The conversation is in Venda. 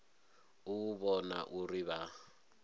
u u vhona uri vha